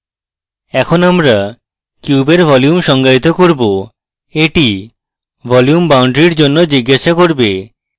এখন আমরা কিউবের ভলিউম সংজ্ঞায়িত করব এটি volume বাউন্ডারীর জন্য জিজ্ঞাসা cube